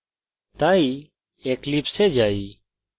তাই eclipse এ যাই